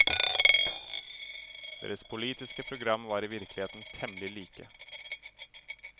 Deres politiske program var i virkeligheten temmelig like.